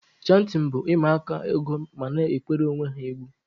Chantịn bụ ụmụaka ịgụ ma na-ekwere onwe ha egwu.